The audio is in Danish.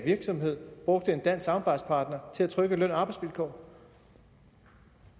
virksomhed brugte en dansk samarbejdspartner til at trykke løn og arbejdsvilkår